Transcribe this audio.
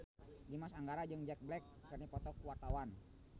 Dimas Anggara jeung Jack Black keur dipoto ku wartawan